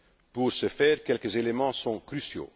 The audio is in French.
Pour ce faire, quelques éléments sont cruciaux.